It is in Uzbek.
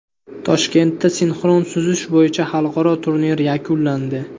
Toshkentda sinxron suzish bo‘yicha xalqaro turnir yakunlandi.